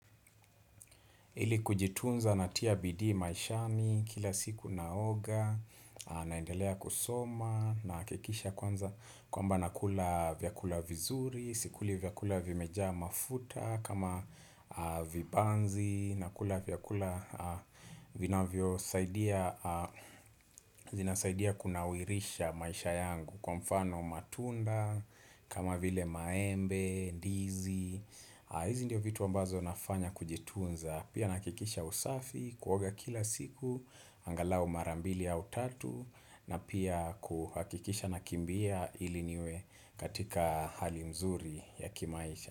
Ili kujitunza natia bidii maishani kila siku naoga, naendelea kusoma, nahakikisha kwanza kwamba nakula vyakula vizuri, sikuli vyakula vimejaa mafuta, kama vibanzi, nakula vyakula vinavyosaidia, zinasaidia kunawirisha maisha yangu kwa mfano matunda, kama vile maembe, ndizi. Hizi ndiyo vitu ambazo nafanya kujitunza. Pia nahakikisha usafi, kuoga kila siku angalau mara mbili au tatu na pia kuhakikisha nakimbia ili niwe katika hali mzuri ya kimaisha.